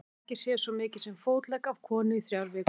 Og við höfum ekki séð svo mikið sem fótlegg af konu í þrjár vikur.